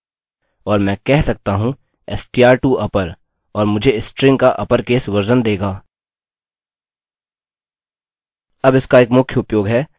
और मैं कह सकता हूँ str to upper और मुझे स्ट्रिंग का अपर केस वर्ज़न देगा